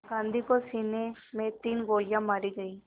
गांधी को सीने में तीन गोलियां मारी गईं